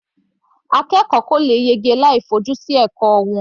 Akẹ́kọ̀ọ́ kò lè yege láì fi ojú sí ẹ̀kọ́ wọn.